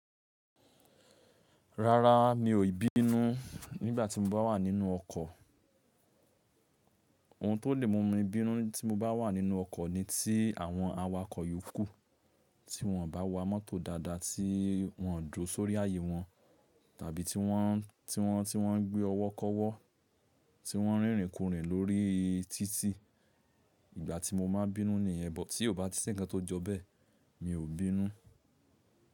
Rara, mi ò bínú nígbà tí mo bá wà nínú ọkọ̀. Ohun tó lè mú mi bínú tí mo bá wà nínú ọkọ̀ ni tí àwọn awakọ̀ yòókù tí wọ́n bá wa mọ́tò dáadáa tí wọ́n ń jó sórí ààyè wọn, tàbí tí wọ́n, tí wọ́n, tí wọ́n ń gbé ọwọ́ kọ́wọ́, tí wọ́n ń rínrin kòrìnin lórí títì. Ìgbà tí mo máa bínú nìyẹn, but tí kò bá sí ńǹkan tó jọ bẹ́ẹ̀, mi ò bínú.